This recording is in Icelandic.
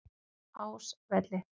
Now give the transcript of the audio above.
Ásvelli